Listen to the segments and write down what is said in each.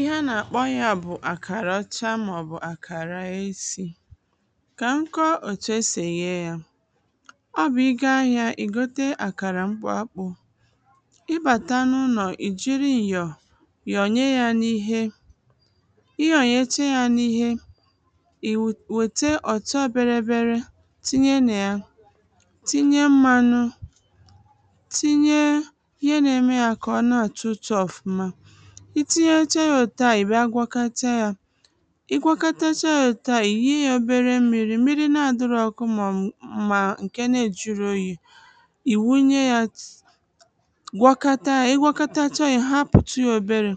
ihe a nà-akpọ yā bụ̀ àkàrà ọcha màọ̀bụ̀ àkàrà esi kà m kọọ òtu esì èye yā ọ bụ̀ ị gaa ahịā ị̀ gote àkàrà mkpụ akpụ̄ ị bàta n’ụnọ̀ ị jiri ǹyọ̀ nyọnyè yā n’īhē ị nyọ̀nyecha jā n’īhē ì wète ọ̀tọbērēbērē tinye nà ya tinye mmānụ̄ tinye ihe nā-ēmē jà kà ọ na-àtọ ụtọ̄ ọ̀fụma ị tinyecha yā òtù ahụ̀ ị̀ bịa gwọkata yā ị gwọkatasa yā òtù ahụ̀ ị̀ yii yā obere mmīrī, mmiri na-adị̄rọ̄ ọ̄kụ̄ mà ǹkè na-ejīrọ̄ ōyì ị̀ wunye yā gwọkata yā, ị gwọkatacha yā ị̀ hapụ̀tụ yā oberē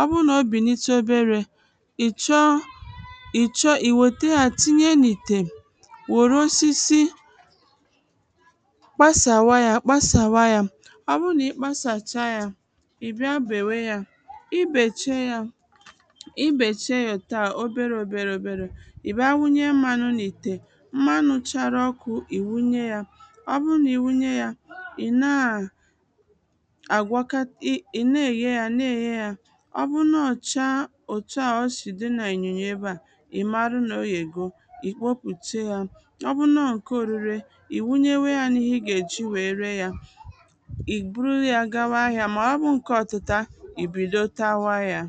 ọ bụrụ nà o bìnitu oberē ị̀ chọọ ị̀ chọọ ì nwète yā tinye n’ìtè nwòro osisi kpasàwa yā kpasàwa yā, ọ bụrụ nà ị kpasàcha yā ị̀ bịa bèwe yā ị bèche yā ị bèche yā òtù ahụ̀ oberē ōbērè ōbērè, ị̀ bịa wunye mmānụ̄ n’ìtè ḿmánʊ̄ tʃārā ɔ̄kʊ̀ ɪ̀ wúɲé jā ɔ́ bʊ́rʊ́ nà ɪ́ wúɲé jā ɪ̀ ná àkwaka ị̀ ị̀ na-èye yā na-èye yā ọ bụrụ nà ọọ̀ chaa òtu à o sì dị nà ǹnyònyò ebe à ị̀ marụ nà o yègo ị̀ kpopùte yā ọ bụrụ nà ọọ̀ ǹke ōrūrē ị̀ wunyewē yà n’ihe ị gà-èji wèe ree yā ì buru yā gawa ahịā mà ọ bụrụ ǹke ọ̄tụ̄tā ì bìdo tawa yā